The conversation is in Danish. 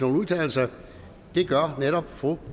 at udtale sig det gør netop fru